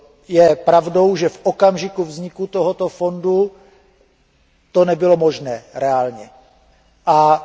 Je pravdou, že v okamžiku vzniku tohoto fondu to nebylo reálně možné.